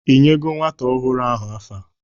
Ịnyego nwata ọhụrụ ahụ afa?